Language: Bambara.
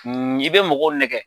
I bɛ mɔgɔw nɛkɛ